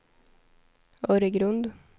Öregrund